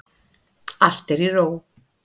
Allt er í ró.